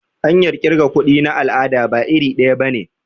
Hanyar kirga kuɗi na al'ada ba iri daya bane.